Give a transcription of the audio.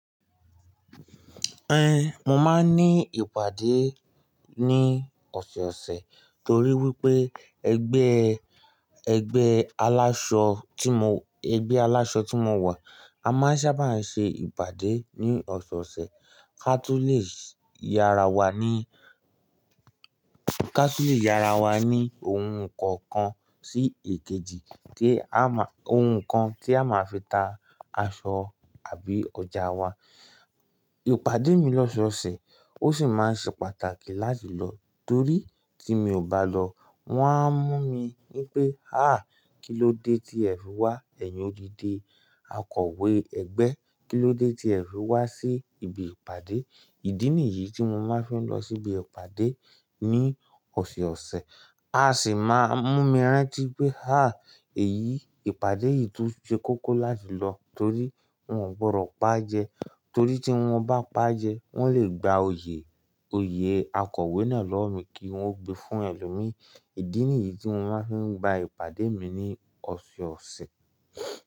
Ẹn, mo máa ń ní ìpàdé ní ọ̀sọ̀ọ̀sẹ̀ torí wípé ẹgbẹ́, ẹgbẹ́ aláṣọ tí mo, ẹgbẹ́ aláṣọ tí mo wà a máa ń sábà ń ṣe ìpàdé ní ọ̀sọ̀ọ̀sẹ̀ kí a tó lè yára wa ní, kí a tó lè yára wa ní ohun kan kan sí èkejì kí a máa, ohun kan tí a máa fi ta aṣọ àbí ọjà wa. Ìpàdé mi lọ́sọ̀ọ̀sẹ̀ ó sì máa ń ṣe pàtàkì láti lọ torí tí mi ò bá lọ wọ́n á mú mi wípé, "àáa kí ló dé tí ẹ̀ fi wá? Ẹ̀yin òdídi akọ̀wé ẹgbẹ́, kí ló dé tí ẹ̀ fi wá sí ibi ìpàdé?" Ìdí nìyí tí mo máa ń fi ń lọ sí ibi ìpàdé ní ọ̀sọ̀ọ̀sẹ̀. A sì máa ń mú mi rántí pé, "àáa èyí, ìpàdé yìí tún ṣe kókó láti lọ torí wọn ò gbọdọ̀ pa jẹ torí tí wọ́n bá pa jẹ wọ́n lè gba oyè, oyè akọ̀wé náà lọ́wọ́ mi kí wọ́n gbe fún ẹlòmíì." Ìdí nìyí tí mo máa ń fi gba ìpàdé mi ní ọ̀sọ̀ọ̀sẹ̀.